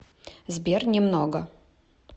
сбер немного